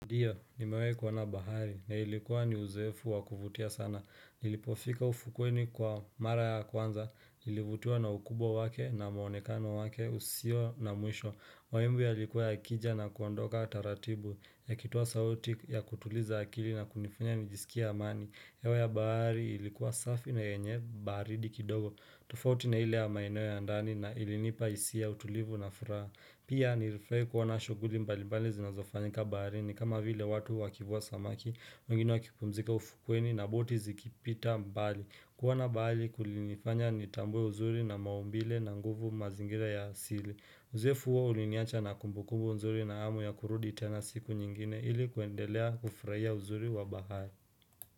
Ndiyo, nimewahi kuona bahari, na ilikuwa ni uzoefu wakuvutia sana. Nilipofika ufukweni kwa mara ya kwanza, nilivutiwa na ukubwa wake, na maonekano wake, usio na mwisho. Mawimbi yalikuwa yakija na kuondoka taratibu, yakitoa sauti ya kutuliza akili na kunifanya nijisikie amani. Hewa ya bahari ilikuwa safi na yenye baridi kidogo. Tofauti na ile ya maeneo ya ndani na ilinipa hisia ya utulivu na furaha. Pia nilifurahia kuona shughuli mbali mbali zinazofanyika bahari ni kama vile watu wakivua samaki, wengine wakipumzika ufukweni na boti zikipita mbali. Kuona bahari kulinifanya nitambue uzuri na maumbile na nguvu mazingira ya asili. Uzoefu huo uliniacha na kumbukubu uzuri na hamu ya kurudi tena siku nyingine ili kuendelea kufurahia uzuri wa bahari.